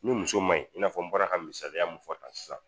Ni muso ma ɲi i n'a fɔ n bɔra ka misaliya mun fɔ tan sisan